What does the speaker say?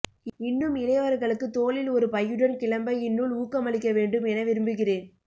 இன்னும் இளையவர்களுக்கு தோளில் ஒருபையுடன் கிளம்ப இந்நூல் ஊக்கமளிக்கவேண்டும் என விரும்புகிறேன்